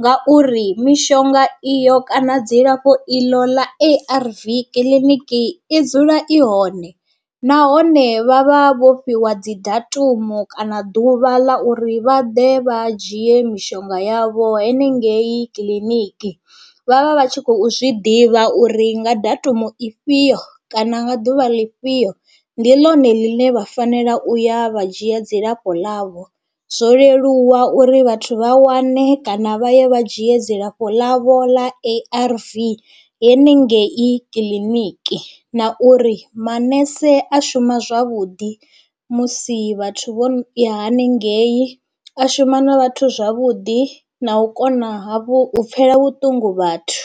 ngauri mishonga iyo kana dzilafho iḽo ḽa A_R_V kiḽiniki i dzula i hone nahone vhavha vho fhiwa dzi datumu kana ḓuvha ḽa uri vha ḓe vha dzhie mishonga yavho haningei kiḽiniki, vhavha vha tshi khou zwiḓivha uri nga datumu i fhio kana nga ḓuvha ḽifhio ndi ḽone ḽine vha fanela u ya vha dzhia dzilafho ḽavho. Zwo leluwa uri vhathu vha wane kana vha ye vha dzhie dzilafho ḽavho ḽa A_R_V henengei kiḽiniki na uri maṋese a shuma zwavhuḓi musi vhathu vho ya haningei, a shuma na vhathu zwavhuḓi na u kona ha vhu pfhela vhuṱungu vhathu.